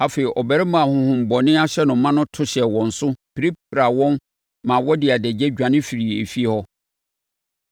Afei, ɔbarima a honhommɔne ahyɛ no ma yi to hyɛɛ wɔn so, pirapiraa wɔn maa wɔde adagya dwane firii efie hɔ.